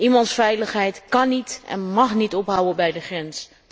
Iemands veiligheid kan niet en mag niet ophouden bij de grens.